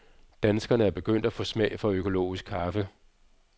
Danskerne er begyndt at få smag for økologisk kaffe.